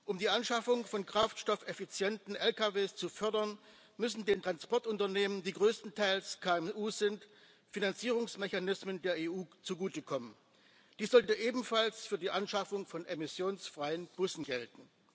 Um die Anschaffung von kraftstoffeffizienten Lkw zu fördern, müssen den Transportunternehmen, die größtenteils KMU sind, Finanzierungsmechanismen der EU zugutekommen. Dies sollte ebenfalls für die Anschaffung von emissionsfreien Bussen gelten.